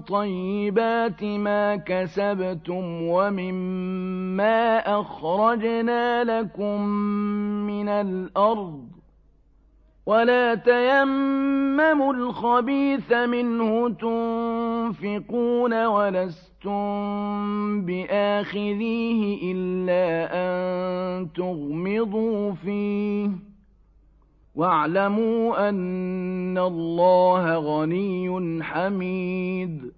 طَيِّبَاتِ مَا كَسَبْتُمْ وَمِمَّا أَخْرَجْنَا لَكُم مِّنَ الْأَرْضِ ۖ وَلَا تَيَمَّمُوا الْخَبِيثَ مِنْهُ تُنفِقُونَ وَلَسْتُم بِآخِذِيهِ إِلَّا أَن تُغْمِضُوا فِيهِ ۚ وَاعْلَمُوا أَنَّ اللَّهَ غَنِيٌّ حَمِيدٌ